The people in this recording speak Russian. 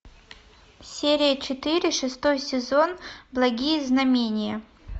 серия четыре шестой сезон благие знамения